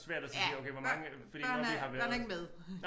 Ja børn børnene er ikke med